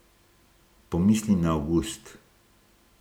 Pomislim na avgust.